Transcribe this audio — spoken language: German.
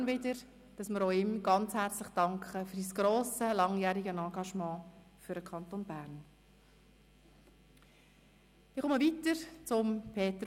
Den Mitgliedern des Büros danke ich ganz besonders für die wichtigen und sehr engagierten Diskussionen bei der Vorbereitung der Sessionen.